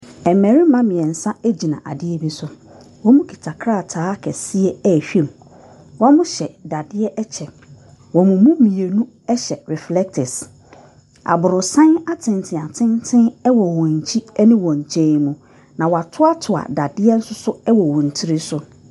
Mmarima mmeɛnsa gyina adeɛ bi so. Wɔkuta krataa kɛseɛ rehwɛ mu. Wɔhyɛ dadeɛ kyɛ. Wɔn mu mmienu hyɛ reflectors. Aborosan atentenatenten wɔ wɔn akyi ne wɔn nkyɛn mu, na wɔatoatoa dadeɛ nso so wɔ wɔn tiri so.